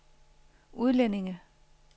udlændinge